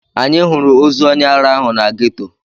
Anyị hụrụ ozu onye ara ahụ na ghetto.